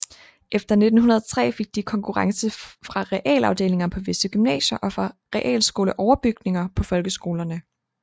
Efter 1903 fik de konkurrence fra realafdelinger på visse gymnasier og fra realskoleoverbygninger på folkeskolerne